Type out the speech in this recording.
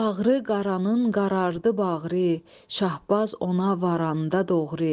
Bağrı qaranın qarardı bağrı, Şahbaz ona varanda doğru.